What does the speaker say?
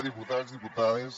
diputats diputades